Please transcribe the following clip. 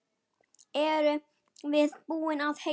Eruð þið búin að heyja?